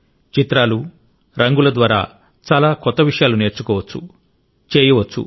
చిత్రాలు రంగుల ద్వారా చాలా కొత్త విషయాలు నేర్చుకోవచ్చు చేయవచ్చు